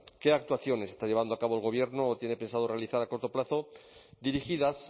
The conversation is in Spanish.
qué actuaciones está llevando a cabo el gobierno o tiene pensado realizar a corto plazo dirigidas